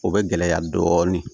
O bɛ gɛlɛya dɔɔnin